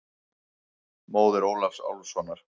Móðir Ólafs Álfssonar.